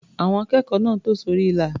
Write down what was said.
Àwọn akẹ́kọ̀ọ́ náà tò sórí ilà.